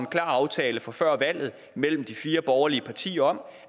aftale fra før valget mellem de fire borgerlige partier om